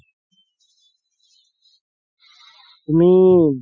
তুমি